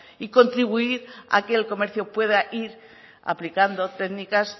y contribuir a que el comercio pueda ir aplicando técnicas